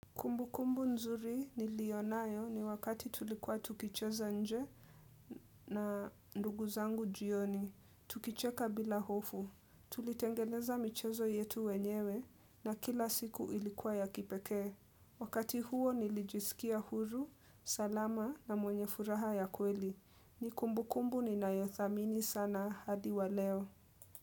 Kumbu kumbu nzuri niliyonayo ni wakati tulikuwa tukicheza nje na ndugu zangu jioni, tukicheka bila hofu, tulitengeneza michezo yetu wenyewe na kila siku ilikuwa ya kipekee. Wakati huo nilijisikia huru, salama na mwenye furaha ya kweli, ni kumbukumbu ninayothamini sana hadi wa leo.